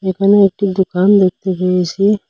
এখানে একটি দুকান দেখতে পেয়েসি ।